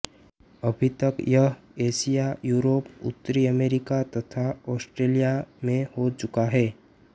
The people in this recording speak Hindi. अभी तक यह एशिया यूरोप उत्तरी अमेरिका तथा आस्ट्रेलिया में हो चुका है